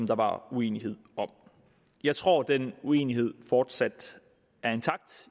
der var uenighed om jeg tror at den uenighed fortsat er intakt